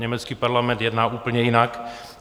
Německý parlament jedná úplně jinak.